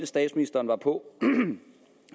statsministeren var på